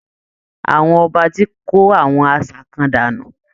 Àwọn Ọba tí kó àwọn àṣà kan dànù